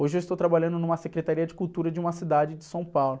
Hoje eu estou trabalhando numa secretaria de cultura de uma cidade de São Paulo.